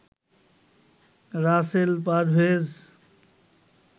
Rasel Parvez